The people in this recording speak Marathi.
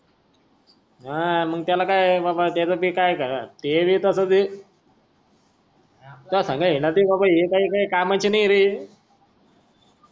हा मंग त्याला काई काय काय कामाचे नाय रे